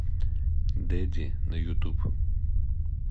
дэдди на ютуб